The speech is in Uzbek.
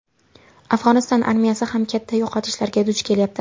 Afg‘oniston armiyasi ham katta yo‘qotishlarga duch kelyapti.